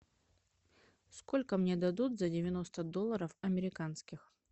сколько мне дадут за девяносто долларов американских